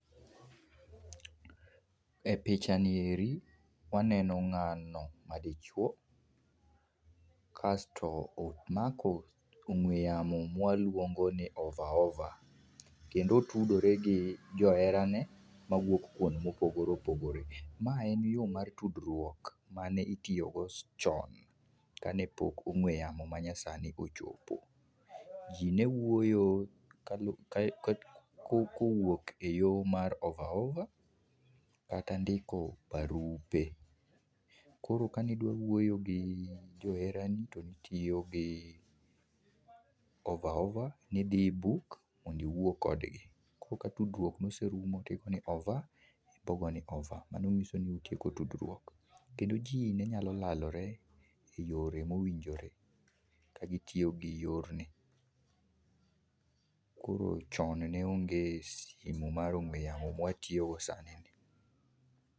E picha ni eri, waneno ng'ano madichuo, kasto omako ong'we yamo mwaluongo ni over over, kendo otudore gi joherane mawuok kuond mopogore opogore. Ma en yo mar tudruok mane itiyo go chon, kane pok ong'we yamo manyasani ochopo. Ji ne wuoyo kalu ka ka kowuok e yo mar over over kata ndiko barupe. Koro ka nidwa wuoyo gi joherani to nitiyo gi over over, nidhi i book mondo iwuo kodgi. Ko ka tudruok noserumo tigo ni over ipo ma ni over, mano ng'iso ni utieko tudruok. Kendo ji ne nyalo lalore e yore mowinjore ka gitiyo gi yorni. Koro chon ne onge simu mar ong'we yamo mwatiyogo sani ni.